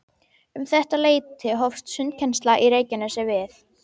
Um þetta leyti hófst sundkennsla í Reykjanesi við